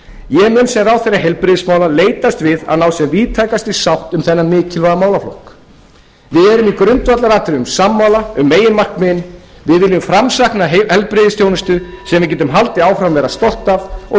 ég mun sem ráðherra heilbrigðismála leitast við að ná sem víðtækastri sátt um þennan mikilvæga málaflokk við erum í grundvallaratriðum sammála um meginmarkmiðin við viljum framsækna heilbrigðisþjónustu sem við getum haldið sem við getum haldið áfram að